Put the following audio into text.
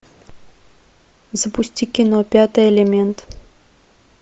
запусти кино пятый элемент